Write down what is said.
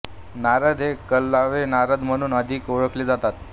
नारद हे कळलावे नारद म्हणून अधिक ओळखले जातात